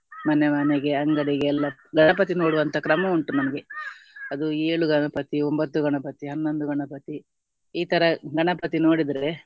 ಮನೆ ಮನೆಗೆ ಅಂಗಡಿಗೆಲ್ಲ ಗಣಪತಿ ನೋಡುವಂತಹ ಕ್ರಮ ಉಂಟು ನಮ್ಗೆ ಅದು ಏಳು ಗಣಪತಿ ಒಂಬತ್ತು ಗಣಪತಿ ಹನ್ನೊಂದು ಗಣಪತಿ ಈ ತರ ಗಣಪತಿ ನೋಡಿದ್ರೆ